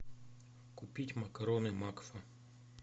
купить макароны макфа